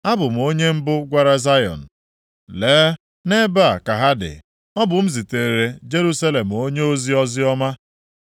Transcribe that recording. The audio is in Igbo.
Abụ m onye mbụ gwara Zayọn, ‘Lee, nʼebe a ka ha dị!’ Ọ bụ m ziteere Jerusalem onyeozi oziọma.